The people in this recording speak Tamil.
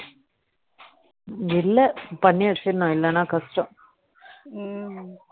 இல்ல பண்ணி வச்சிரணும் இல்லனா கஷ்டம்